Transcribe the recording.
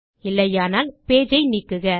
இல்லையானால் pageஐ நீக்குக